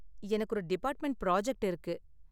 எனக்கு ஒரு department project இருக்கு.